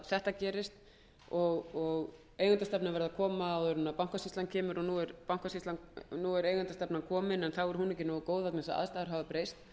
þetta gerist og að eigendastefnan verði að koma áður en bankasýslan kemur og nú er eigendastefnan komin en þá er hún ekki nógu góð vegna þess að aðstæður hafa breyst